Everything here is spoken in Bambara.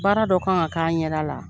Baara dɔ kan ka k'a ɲɛda la.